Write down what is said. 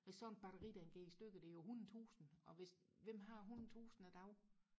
hvis sådan et batteri der går i stykker det er jo hundrede tusind og hvis hvem har hundrede tusind i dag